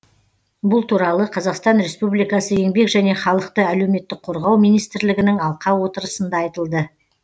бұл туралы қазақстан республикасы еңбек және халықты әлеуметтік қорғау министрлігінің алқа отырысында айтылды